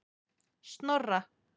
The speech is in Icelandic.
Snorra